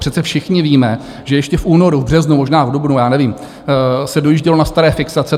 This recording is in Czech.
Přece všichni víme, že ještě v únoru, v březnu, možná v dubnu, já nevím, se dojíždělo na staré fixace.